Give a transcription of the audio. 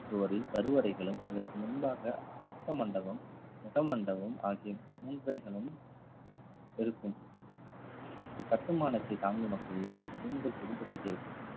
சுவரில் கருவறைகளும் அதற்கு முன்பாக ரத்த மண்டபம் முக மண்டபம் ஆகிய முன் கைகளும் இருக்~ இருக்கும் கட்டுமானத்தை தாங்கும் வகையில் தூண்கள் செதுக்கப்பட்டிருக்கும்